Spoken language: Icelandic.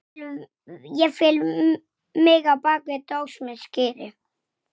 Aftur þagnaði pabbi.